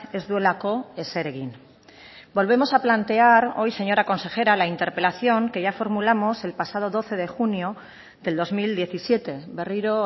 ez duelako ezer egin volvemos a plantear hoy señora consejera la interpelación que ya formulamos el pasado doce de junio del dos mil diecisiete berriro